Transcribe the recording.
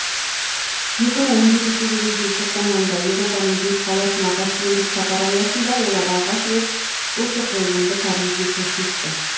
екі мың он жетінші жылдың желтоқсан айында еуропаның бес қаласына гастрольдік сапар аясында олар алғаш рет осы қойылымды парижде көрсетті